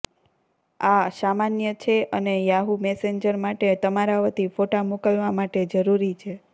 આ સામાન્ય છે અને યાહૂ મેસેન્જર માટે તમારા વતી ફોટા મોકલવા માટે જરૂરી છે